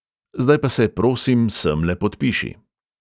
"Zdaj pa se, prosim, semle podpiši."